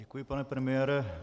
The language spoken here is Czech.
Děkuji, pane premiére.